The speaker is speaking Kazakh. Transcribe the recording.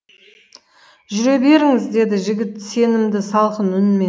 жүре беріңіз деді жігіт сенімді салқын үнмен